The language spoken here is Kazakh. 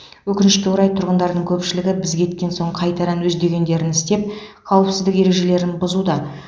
өкінішке орай тұрғындардың көпшілігі біз кеткен соң қайтадан өз дегендерін істеп қауіпсіздік ережелерін бұзуда